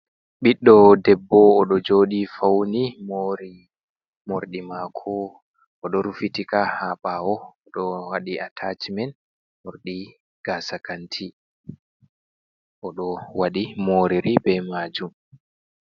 Ɓiɗdo debbo oɗo joɗi fauni mori morɗi mako oɗo rufitika ha ɓawo oɗo waɗi atacment morɗi gasa kanti oɗo waɗi moriri be majum.